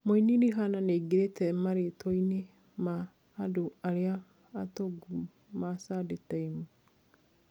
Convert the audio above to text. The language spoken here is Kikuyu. Mũini Rihana niaingirite maritwa-ini ya andũ aria atongu ma Sunday Time.